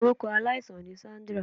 Orukọ alaisan ni Sandra